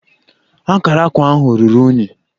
Akara akwa ahụ ruru unyi